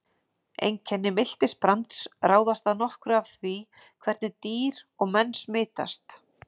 Einkenni miltisbrands ráðast að nokkru af því hvernig dýr og menn smitast.